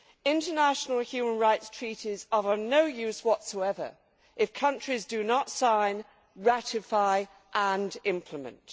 International human rights treaties are of no use whatsoever if countries do not sign, ratify and implement.